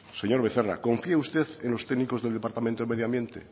señor becerra confía usted en los técnicos del departamento de medio ambiente